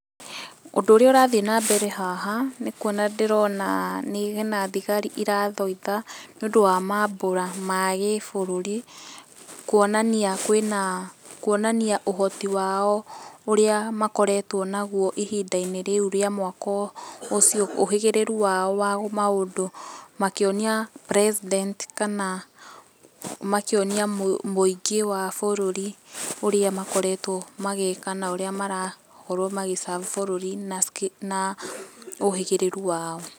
Ũndũ ũrĩa ũrathiĩ na mbere haha nĩ kuona ndĩrona hena thigari ĩrathoitha nĩ ũndũ wa maambũra ma gĩ bũrũri, kuonania kwĩna, kuonania ũhoti wao ũrĩa makoretwo naguo ĩhinda-inĩ rĩu ria mwaka ũcio, ũhĩgĩrĩru wao wa maũndũ makĩonia president kana makĩonia mũingĩ wa bũrũri ũrĩa makoretwo magĩka na ũrĩa marakorwo magĩ serve bũrũri na ũhĩgĩrĩru wao.